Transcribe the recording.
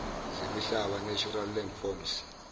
zemihlaba natural landforms